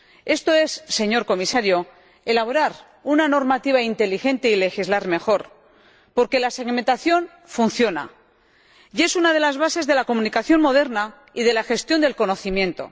Esto es, señor Comisario, elaborar una normativa inteligente y legislar mejor, porque la segmentación funciona y es una de las bases de la comunicación moderna y de la gestión del conocimiento.